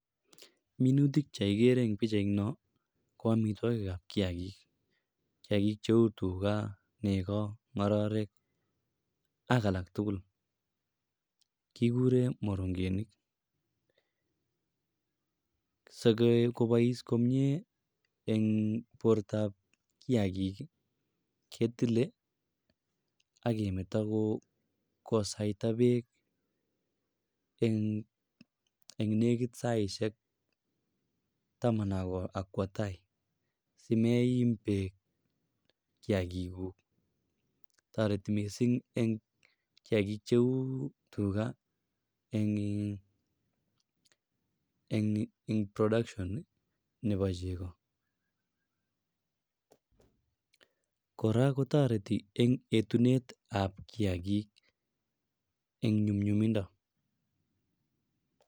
Minutik che kigere eng pichaiono ko amitwogikab kiakik. Kiakik cheu tuga, nego, ngororek ak alak tugul. Kiguren morongenik. Sigobois komie eng bortab kiagik, ketile ak kemeto kosaita beek en yenegit saisiek taman ak kwo tai simeim beek kiakikuk. Toreti mising eng kiakik cheutuga eng in production nebo chego. Kora kotoreti eng etunetab kiakik eng nyumnyumindo.